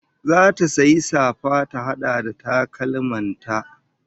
Zata sayi safa ta hada da takalman ta